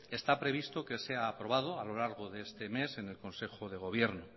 está previsto que sea aprobado a lo largo de este mes en el consejo de gobierno